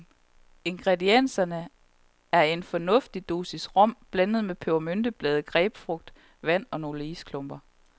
Ingredienserne er her en fornuftig dosis rom blandet med pebermynteblade, grapefrugt, vand og nogle isklumper.